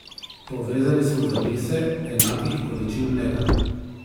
Povezali smo zapise enakih količin mleka.